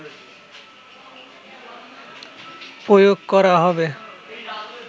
প্রয়োগ করা হবে